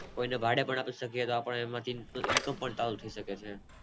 કોઈ ને ભાડે પણ આપી શકીયે એમાંથી આપણે